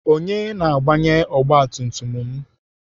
Onye na-agbanye ọgbatumtum m?